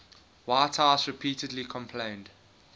whitehouse repeatedly complained